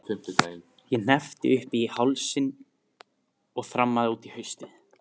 Ég hneppti upp í háls og þrammaði út í haustið.